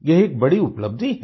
यह एक बड़ी उपलब्धि है